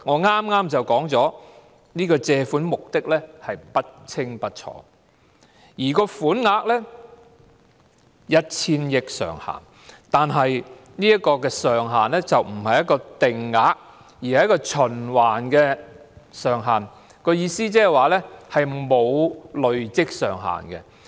我剛才說過，借款目的不清不楚，款額上限是 1,000 億元，但這個上限不是定額，而是循環上限，意思是沒有累積上限。